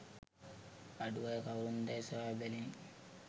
අඩු අය කවුරුන්දැයි සොයා බැලිණි